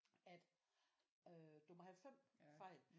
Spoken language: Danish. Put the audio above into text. At øh du må have 5 fejl